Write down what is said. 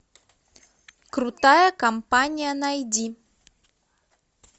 крутая компания найди